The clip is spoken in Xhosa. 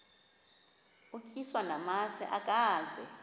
utyiswa namasi ukaze